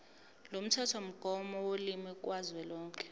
lomthethomgomo wolimi kazwelonke